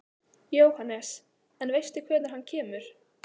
Jóhannes: En veistu hvenær hann kemur?